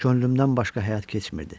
Könlümdən başqa həyat keçmirdi.